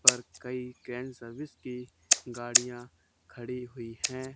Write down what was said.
पर कई grand service की गाड़िया खड़ी हुई है।